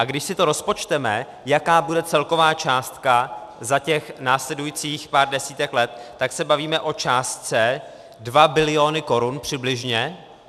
A když si to rozpočteme, jaká bude celková částka za těch následujících pár desítek let, tak se bavíme o částce 2 biliony korun, přibližně.